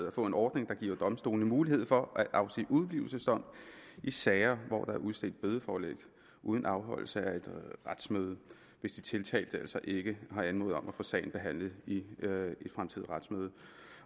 at få en ordning der giver domstolene mulighed for at afsige udeblivelsesdom i sager hvor der er udstedt bødeforelæg uden afholdelse af et retsmøde hvis de tiltalte altså ikke har anmodet om at få sagen behandlet i et fremtidigt retsmøde